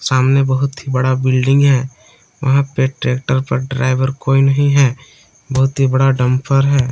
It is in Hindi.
सामने बहुत ही बड़ा बिल्डिंग है और ट्रैक्टर पर ड्राइवर कोई नहीं है बहुत ही बड़ा डंपर है।